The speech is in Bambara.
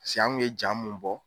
Paseke an kun ye ja mun bɔ.